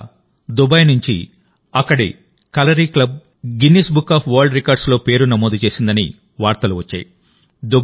ఇటీవల దుబాయ్ నుంచి అక్కడి Kalari club Guinness book of world రికార్డ్స్లో పేరు నమోదు చేసిందని వార్తలు వచ్చాయి